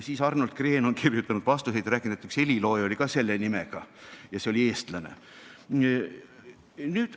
Siis Arnold Green kirjutas vastuseid ja rääkis, et üks helilooja oli ka selle nimega ja ta oli eestlane.